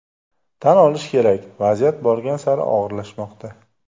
Tan olish kerak, vaziyat borgan sari og‘irlashmoqda.